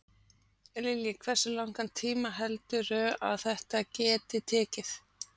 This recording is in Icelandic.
Lillý: Hversu langan tíma heldurðu að þetta geti tekið?